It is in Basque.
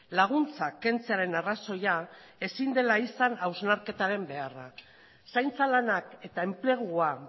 laguntzak kentzearen arrazoia ezin dela izan hausnarketaren beharra zaintza lanak eta enplegua